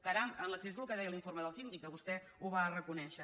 caram en l’accés és el que deia l’informe del síndic que vostè ho va reconèixer